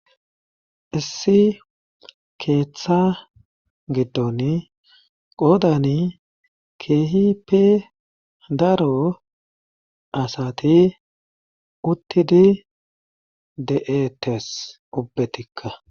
Issi keeththa giddon qoodani keehipe daro asati uttidi de'ettes ubbetikka.